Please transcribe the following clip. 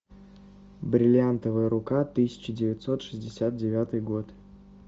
бриллиантовая рука тысяча девятьсот шестьдесят девятый год